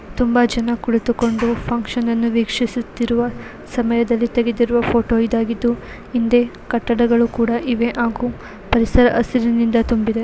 ತುಂಬಾ ಜನ ಕುಳಿತುಕೊಂಡು ಫಂಕ್ಷನ್ ನ್ನು ವೀಕ್ಷಿಸುತ್ತಿರುವ ಸಮಯದಲ್ಲಿ ತಗೆದಿರುವ ಫೋಟೋ ಇದಾಗಿದು ಹಿಂದೆ ಕಟಡಗಳು ಕೂಡ ಇವೆ ಹಾಗು ತುಂಬಿದೆ.